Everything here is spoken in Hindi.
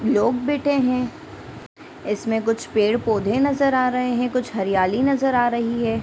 लोग बैठे हैं इसमें कुछ पेड़-पौधे नज़र आ रहे हैं कुछ हरियाली नज़र आ रही है।